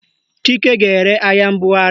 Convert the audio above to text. Chike ga-ere ahịa mbugharị